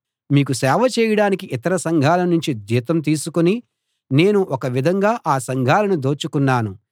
మీకు సేవ చేయడానికి ఇతర సంఘాల నుంచి జీతం తీసుకుని నేను ఒక విధంగా ఆ సంఘాలను దోచుకున్నాను